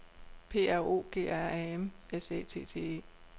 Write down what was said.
P R O G R A M S Æ T T E